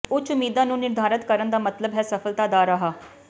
ਉੱਚ ਉਮੀਦਾਂ ਨੂੰ ਨਿਰਧਾਰਤ ਕਰਨ ਦਾ ਮਤਲਬ ਹੈ ਸਫਲਤਾ ਦਾ ਰਾਹ